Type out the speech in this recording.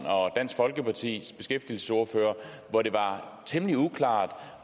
og dansk folkepartis beskæftigelsesordfører hvor det var temmelig uklart